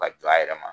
Ka jɔ a yɛrɛ ma